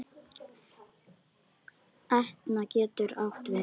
Etna getur átt við